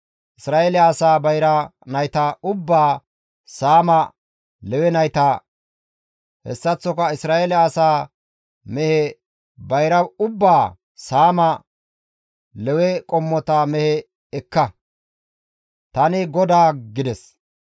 Isra7eele asaa bayra nayta ubbaa saama Lewe nayta, hessaththoka Isra7eele asaa mehe bayra ubbaa saama Lewe qommota mehe ekka; Tani GODAA» gides.